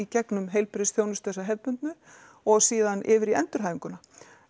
gegnum heilbrigðisþjónustu þessa hefðbundnu og síðan yfir í endurhæfinguna